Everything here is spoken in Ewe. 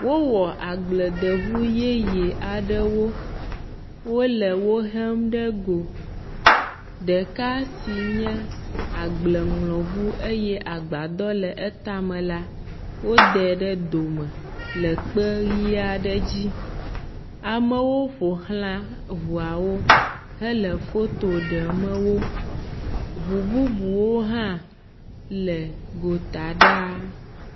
Wowɔ agbledeŋu yeye aɖewo. Wole wohem ɖe go. Ɖeka si nye agbleŋlɔŋu eye agbadɔ le etame la, wodɛ ɖe dome le kpe ʋi aɖe dzi. Amewo ƒo ʋlã eŋuawo hele foto deme wo. Ŋu bubuwo hã le gota ɖaa.